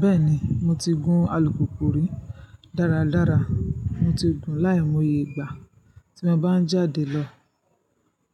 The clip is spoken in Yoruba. Bẹ́ẹ̀ni, mo ti gun alùpùpù rí dáradára, mo ti gun láì mò ye ìgbà. Tí mo bá ń jáde lọ